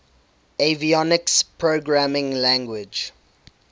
avionics programming language